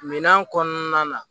Minan kɔnɔna na